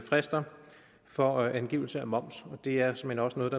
frister for angivelse af moms og det er såmænd også noget